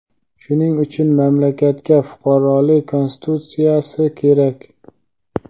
Shuning uchun mamlakatga fuqarolik Konstitutsiyasi kerak.